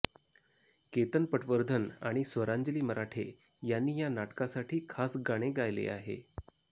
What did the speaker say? केतन पटवर्धन आणि स्वरांजली मराठे यांनी या नाटकासाठी खास गाणे गायले आहे